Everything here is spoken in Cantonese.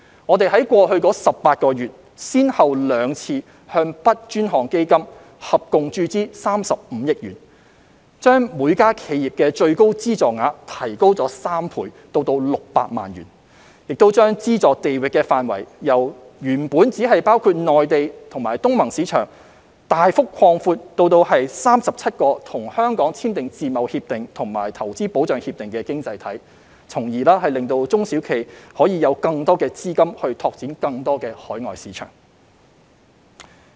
我們在過去18個月，先後兩度向 "BUD 專項基金"合共注資35億元，將每間企業的最高資助額提高3倍至600萬元，亦將資助地域範圍由原本只包括內地及東盟市場，大幅擴闊至37個已與香港簽署自由貿易協定及/或促進和保護投資協定的經濟體，令中小企可以有更多資金拓展更多海外市場。